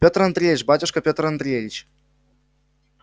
пётр андреич батюшка пётр андреич